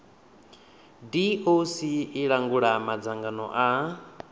doc i langula madzangano a